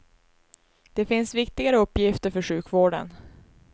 Det finns viktigare uppgifter för sjukvården.